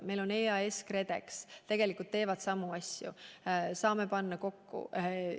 Meil on EAS ja KredEx, mis tegelikult teevad samu asju, saame need kokku panna.